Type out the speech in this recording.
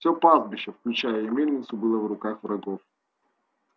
всё пастбище включая и мельницу было в руках врагов